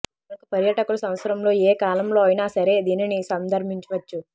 కనుక పర్యాటకులు సంవత్సరం లో ఏ కాలంలో అయినా సరే దీనిని సందర్శించవచ్చు